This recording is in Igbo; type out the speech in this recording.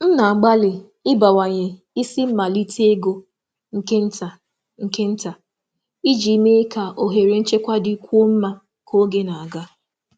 M na-agbalị ịbawanye isi um mmalite ego nke nta nke nta um iji mee ka um ohere nchekwa dịkwuo mma ka oge na-aga.